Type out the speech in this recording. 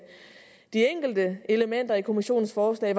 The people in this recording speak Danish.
de enkelte elementer i kommissionens forslag